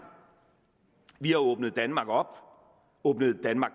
vi har åbnet danmark op åbnet danmark